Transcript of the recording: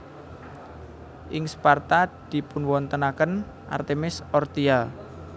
Ing Sparta dipunwontenaken Artemis Orthia